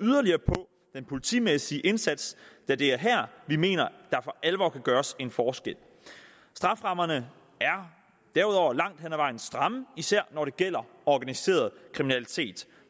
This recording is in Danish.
yderligere på den politimæssige indsats da det er her vi mener der for alvor kan gøres en forskel strafferammerne er derudover langt hen ad vejen stramme især når det gælder organiseret kriminalitet